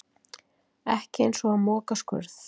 Ekki eins og að moka skurð